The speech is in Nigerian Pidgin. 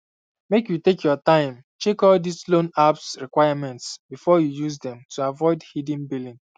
make you take your time check all dis um loan apps requirements before you use dem to avoid hidden billing